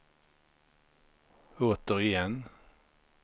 återigen